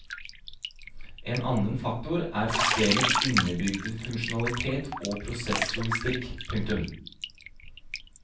En annen faktor er systemets innebygde funksjonalitet og prosesslogistikk. punktum